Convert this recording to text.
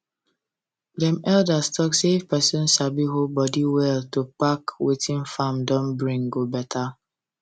dem elders talk say if person sabi hold body well to pack um wetin farm don bring go better